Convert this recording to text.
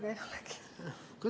Kuidas?